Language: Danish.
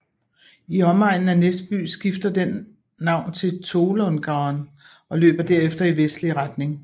I omegnen af Näsby skifter den navn til Tolångaån og løber derefter i vestlig retning